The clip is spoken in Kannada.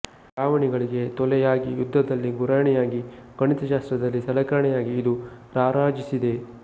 ಚಾವಣಿಗಳಿಗೆ ತೊಲೆಯಾಗಿ ಯುದ್ಧದಲ್ಲಿ ಗುರಾಣಿಯಾಗಿ ಗಣಿತಶಾಸ್ತ್ರದಲ್ಲಿ ಸಲಕರಣೆಯಾಗಿ ಇದು ರಾರಾಜಿಸಿದೆ